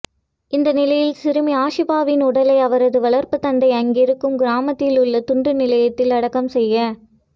இந்நிலையில் சிறுமி ஆஷிபாவின் உடலை அவரது வளர்ப்பு தந்தை அங்கிருக்கும் கிராமத்தில் உள்ள துண்டு நிலத்தில் அடக்கம் செய்ய